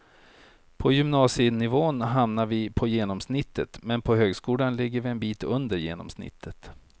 På gymnasienivån hamnar vi på genomsnittet, men på högskolan ligger vi en bit under genomsnittet.